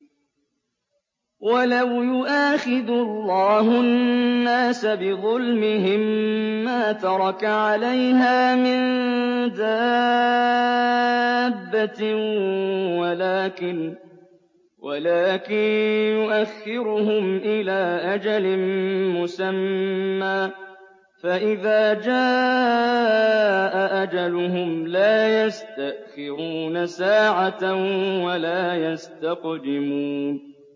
وَلَوْ يُؤَاخِذُ اللَّهُ النَّاسَ بِظُلْمِهِم مَّا تَرَكَ عَلَيْهَا مِن دَابَّةٍ وَلَٰكِن يُؤَخِّرُهُمْ إِلَىٰ أَجَلٍ مُّسَمًّى ۖ فَإِذَا جَاءَ أَجَلُهُمْ لَا يَسْتَأْخِرُونَ سَاعَةً ۖ وَلَا يَسْتَقْدِمُونَ